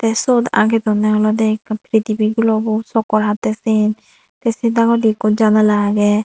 tey syot agei donney olodey ikko pitibo glubo chakkar hattey siyen tey sei dagodi ikko janala agey.